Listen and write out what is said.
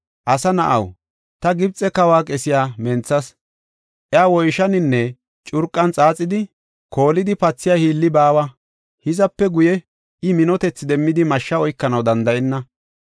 “Asa na7aw, ta Gibxe kawa qesiya menthas; iya woyshaninne curqan xaaxidi, koolidi pathiya hiilli baawa; hizape guye I minotethi demmidi mashshe oykanaw danda7enna.